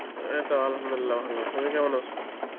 এই তো Arbi ভালো, তুমি কেমন আছো?